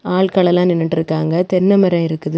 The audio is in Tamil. ஆல்கள் எல்லாம் நின்னுட்டு இருக்காங்க தென்னை மரம் இருக்குது.